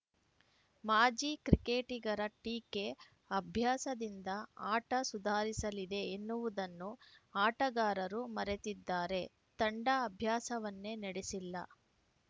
ಮಾಜಿ ಕ್ರಿಕೆಟಿಗರ ಟೀಕೆ ಅಭ್ಯಾಸದಿಂದ ಆಟ ಸುಧಾರಿಸಲಿದೆ ಎನ್ನುವುದನ್ನು ಆಟಗಾರರು ಮರೆತಿದ್ದಾರೆ ತಂಡ ಅಭ್ಯಾಸವನ್ನೇ ನಡೆಸಿಲ್ಲ